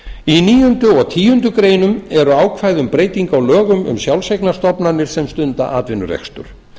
í níunda og tíundu greinar eru ákvæði um breytingu á lögum um sjálfseignarstofnanir sem stunda atvinnurekstur